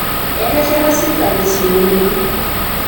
etesheta serikali isukuulini